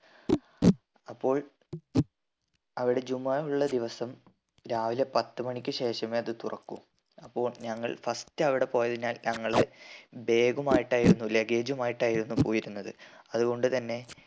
അപ്പോൾ അവ്ടെ ജുമാ ഉള്ള ദിവസം രാവിലെ പത്ത് മണിക്ക് ശേഷമേ അത് തുറക്കൂ അപ്പോ ഞങ്ങൾ first അവ്ടെ പോയതിനാൽ ഞങ്ങള് bag മായിട്ടായിരുന്നു luggage മായിട്ടായിരുന്നു പോയിരുന്നത് അതുകൊണ്ട് തന്നെ